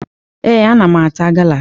Ee, ana m ata gala